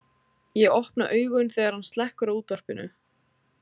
Ég opna augun þegar hann slekkur á útvarpinu.